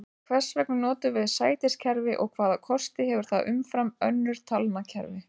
Hvers vegna notum við sætiskerfi og hvaða kosti hefur það umfram önnur talnakerfi?